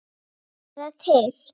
Fara til